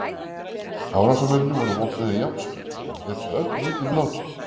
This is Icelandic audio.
Árásarmennirnir voru vopnaðir járnstöngum og létu öllum illum látum.